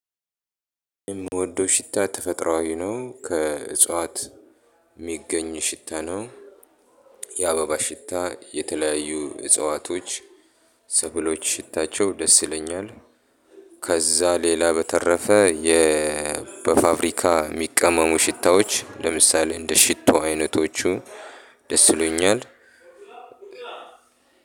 የምወደው ሽታ ተፈጥሮአዊ ነው። ከእጽዋት የሚገኝ ሽታ ነው። የአበባ ሽታ የተለያዩ እጽዋቶች ሰብሎች ሽታቸው ደስ ይለኛል። ከዛ ሌላ በተረፈ የ በፋብሪካ የሚቀመሙ ሽታዎች ለምሳሌ እንደ ሽቶ አይነቶቹ ደስ ይሉኛል።